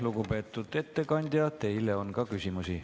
Lugupeetud ettekandja, teile on ka küsimusi.